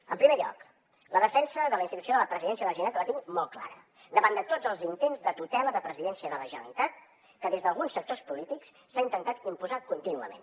en primer lloc la defensa de la institució de la presidència a la generalitat la tinc molt clara davant de tots els intents de tutela de la presidència de la generalitat que des d’alguns sectors polítics s’han intentat imposar contínuament